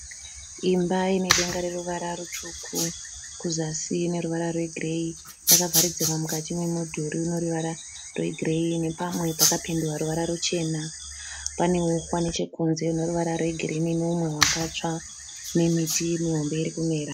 Imba inedenga reruvara rutsvuku kuzasi ineruvara rwegireyi. Yakavharidzirwa mukati memudhuri uneruvara rwegireyi nepamwe pakapendwa ruvara ruchena. Paneuswa nechekunze huneruvara rwegirini nehumwe hwakatsva nemiti mihombe irikumera.